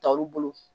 Ta olu bolo